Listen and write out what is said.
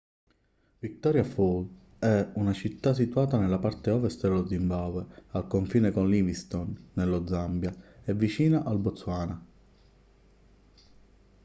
victoria falls è una città situata nella parte ovest dello zimbabwe al confine con livingstone nello zambia e vicina al botswana